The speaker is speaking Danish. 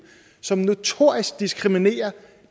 som notorisk diskriminerer